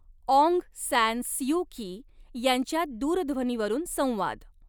Aung San Suu Kyi यांच्यात दूरध्वनीवरून संवाद